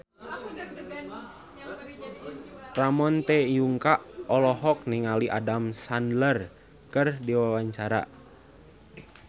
Ramon T. Yungka olohok ningali Adam Sandler keur diwawancara